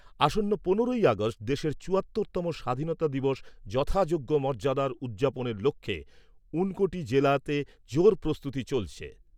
আসন্ন পনেরোই আগষ্ট দেশের চুয়াত্তর তম স্বাধীনতা দিবস যথাযোগ্য মর্যাদায় উদযাপনের লক্ষ্যে ঊনকোটি জেলাতে জোর প্রস্তুতি চলেছে।